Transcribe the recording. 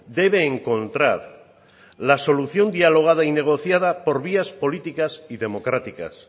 debe encontrar la solución dialogada y negociada por vías políticas y democráticas